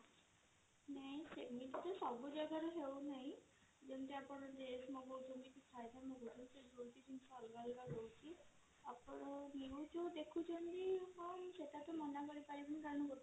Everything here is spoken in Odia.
ନାଇଁ ସେମିତି ତ ସବୁ ଜାଗା ରେ ହେଉ ନାହିଁ ଯେମିତି ଆପଣ dress ମଗଉଛନ୍ତି ସବୁ ଅଲଗା ଅଲଗା ରହୁଛି ଆପଣ views ଯଉ ଦେଖୁଛନ୍ତି ହଁ ସେଟା ତ ମନା କରିପାରିବିନି କାରଣ